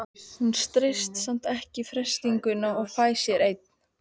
Hún stenst samt ekki freistinguna og fær sér einn.